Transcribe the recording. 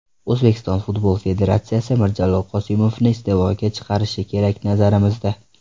O‘zbekiston futbol federatsiyasi Mirjalol Qosimovni iste’foga chiqarishi kerak, nazarimizda.